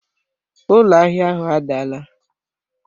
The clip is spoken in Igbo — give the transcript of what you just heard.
Ụlọ ahịa ahụ adaala